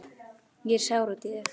Ég er sár út í þig.